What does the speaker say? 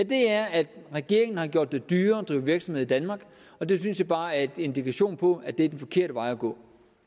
det er at regeringen har gjort det dyrere at drive virksomhed i danmark og det synes jeg bare er en indikation på at det er den forkerte vej at gå